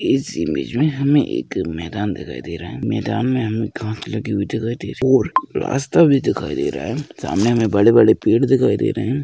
इस इमेज में हमे एक मैदान दिखाई दे रहा है मैदान में हमे घास लगी हुई दिखाई दे रही और रास्ता भी दिखाई दे रहा है सामने हमें बड़े-बड़े पेड़ दिखाई दे रहे है।